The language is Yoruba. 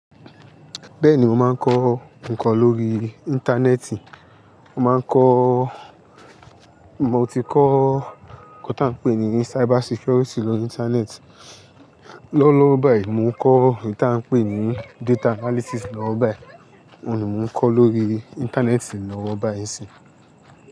Bẹ́ẹ̀ni mo máa ń kọ́ nǹkan lórí Íńtánẹ́ẹ̀tì. Mo máa ń kọ́ Mo ti kọ́ nkan tí a ń pè ní Cyber Security lórí Íńtánẹ́ẹ̀tì. Lọ́wọ́lọ́wọ́ báyìí mo ń kọ́ ohun tí a ń pè ní Data Analysis lọ́wọ́ báyìí. Óhun ni mò ń kọ́ lórí Íńtánẹ́ẹ̀tì lọ́wọ́ báyìí n sin.